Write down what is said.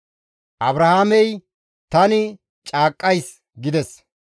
Abrahaamey, «Tani caaqqays» gides.